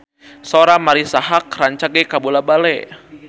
Sora Marisa Haque rancage kabula-bale